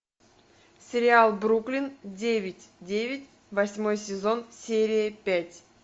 сериал бруклин девять девять восьмой сезон серия пять